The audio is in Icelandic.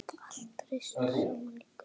Allt hrist saman í krukku.